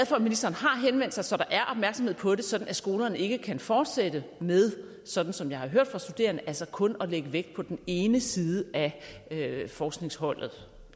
for at ministeren har henvendt sig så der er opmærksomhed på det så skolerne ikke kan fortsætte med sådan som jeg har hørt fra studerende kun at lægge vægt på den ene side af forskningsholdet